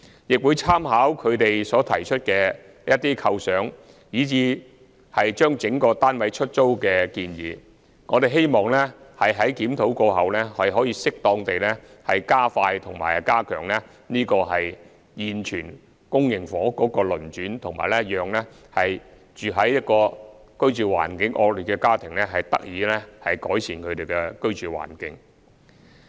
我會參考他們所提出的一些構想，以至把整個單位出租的建議，希望在檢討計劃過後，可以適當地加快和加強現有公營房屋的流轉，以及讓居住環境惡劣的家庭得以改善他們的居住環境。